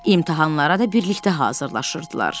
İmtahanlara da birlikdə hazırlaşırdılar.